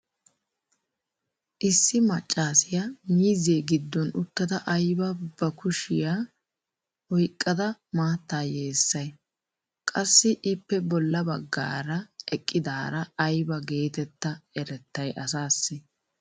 issi maccaassiya miizzee giddon uttada aybaa ba kushiyan oyqqada maattaa yeessay? qassi ippe bola bagaara eqqidaara aybba geetetta erettay asaassi?